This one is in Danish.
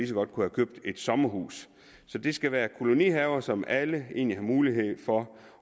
så godt kan købe et sommerhus så det skal være kolonihaver som alle egentlig har mulighed for